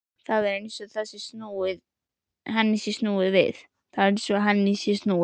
Það er eins og henni sé snúið við.